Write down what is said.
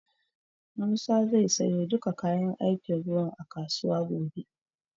Musa zai siyo duka kayan aikin ruwan a kasuwa gobe.